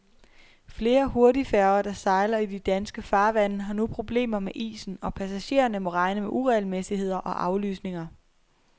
Flere hurtigfærger, der sejler i de danske farvande, har nu problemer med isen, og passagererne må regne med uregelmæssigheder og aflysninger.